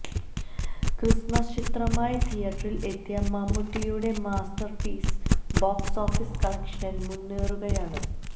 Christmas ചിത്രമായി തിയറ്ററില് എത്തിയ മമ്മൂട്ടിയുടെ മാസ്റ്റര്പീസ് ബോക്സ് ഓഫീസ് കളക്ഷനില് മുന്നേറുകയാണ്